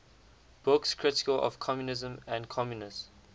books critical of communism and communists